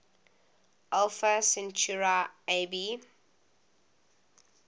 alpha centauri ab